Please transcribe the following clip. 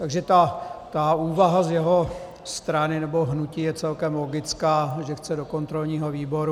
Takže ta úvaha z jeho strany, nebo hnutí, je celkem logická - že chce do kontrolního výboru.